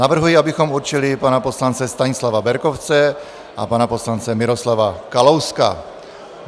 Navrhuji, abychom určili pana poslance Stanislava Berkovce a pana poslance Miroslava Kalouska.